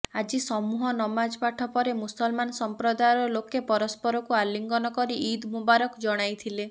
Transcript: ଆଜି ସମୂହ ନମାଜପାଠ ପରେ ମୁସଲମାନ ସମ୍ପ୍ରଦାୟର ଲୋକେ ପରସ୍ପରକୁ ଆଲିଙ୍ଗନ କରି ଇଦ୍ ମୁବାରକ ଜଣାଇଥିଲେ